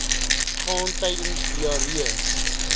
gaan tydens diarree